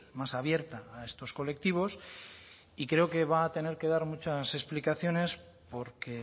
más abierta a estos colectivos y creo que va a tener que dar muchas explicaciones porque